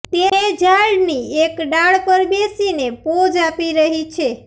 તે ઝાડની એક ડાળ પર બેસીને પોઝ આપી રહી છે